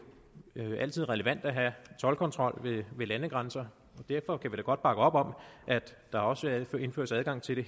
altid relevant at have toldkontrol ved landegrænser og derfor kan vi da godt bakke op om at der også indføres adgang til det